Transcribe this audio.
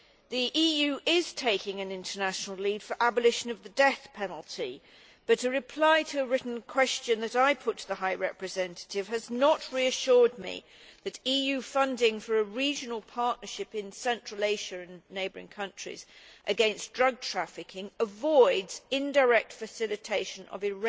The EU is taking an international lead on the abolition of the death penalty, but a reply to a written question that I put to the High Representative has not reassured me that EU funding for a regional partnership in central Asia and neighbouring countries against drug trafficking avoids indirect facilitation of the